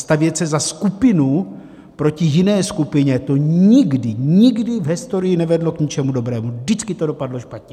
Stavět se za skupinu proti jiné skupině, to nikdy, nikdy v historii nevedlo k ničemu dobrému, vždycky to dopadlo špatně.